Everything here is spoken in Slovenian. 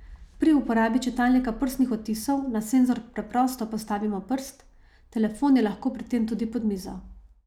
Pri uporabi čitalnika prstnih odtisov na senzor preprosto postavimo prst, telefon je lahko pri tem tudi pod mizo.